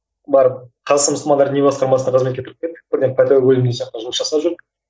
барып қазақстан мұсылмандар діни басқармасына қызметке кіріп кеттік бірден жұмыс жасап жүрдік